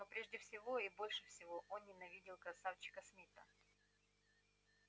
но прежде всего и больше всего он ненавидел красавчика смита